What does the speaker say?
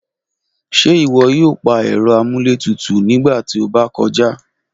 Ṣe iwọ yoo pa ẹrọ amúlétutù nigba ti o ba kọja?